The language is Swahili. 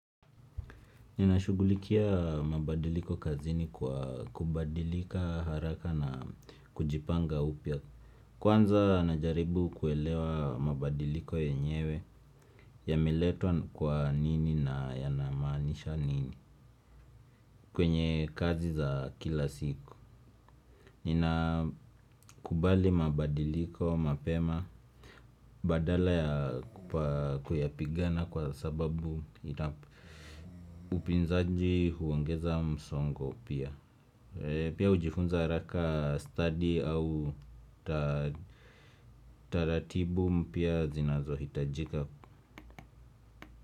Ninashugulikia mabadiliko kazini kwa kubadilika haraka na kujipanga upya. Kwanza najaribu kuelewa mabadiliko yenyewe ya meletwa kwa nini na yana maanisha nini. Kwenye kazi za kila siku ninakubali mabadiliko mapema badala ya kupigana kwa sababu upinzaji huongeza msongo pia. Pia ujifunza haraka study au taratibu mpya zinazo hitajika.